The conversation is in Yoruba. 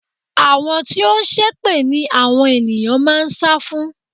Àwọn tí ó ń ṣépè ni àwọn ènìyàn máa ń sá fún.